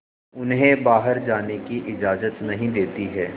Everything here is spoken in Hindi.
उन्हें बाहर जाने की इजाज़त नहीं देती है